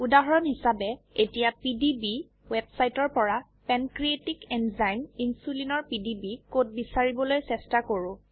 উদহৰন হিচাবে এতিয়া পিডিবি ওয়েবসাইটৰ পৰা পেনক্ৰিয়েটিক এনজাইম ইনচুলিন এৰ পিডিবি কোড বিছাৰিবলৈ চেষ্টা কৰো